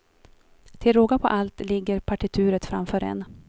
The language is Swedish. Till råga på allt ligger partituret framför en.